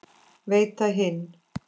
Veita hinn